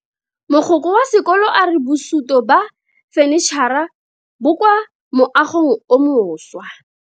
Mogokgo wa sekolo a re bosuto ba fanitšhara bo kwa moagong o mošwa.